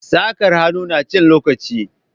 Saƙar hannu na cin lokaci